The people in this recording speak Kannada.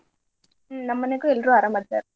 ಹ್ಮ್ ನಮ್ ಮನ್ಯಾಗೂ ಎಲ್ರೂ ಅರಾಮ್ ಅದಾರ್.